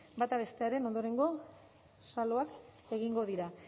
bata bestearen ondorengo saloak egingo dira